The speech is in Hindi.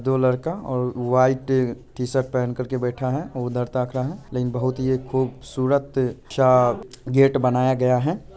दो लड़का और व्हाइट टी-शर्ट पेहन कर के बैठा है और उधर ताक रहा है| लेकिन बहुत ये खूबसूरत-सा गेट बनाया गया है।